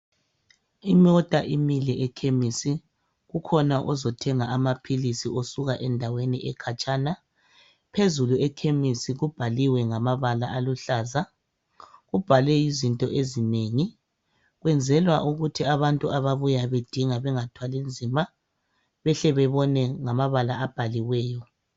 Imota imile ekhemisi, kukhona ozothenga amaphilisi osuka endaweni ekhatshana. Phezulu ekhemisi kubhaliwe ngamabala aluhlaza . Kubhalwe izinto ezinengi, kwenzelwa ukuthi abantu ababuya bedinga bengathwali nzima behle bebone ngamabala abhaliweyo.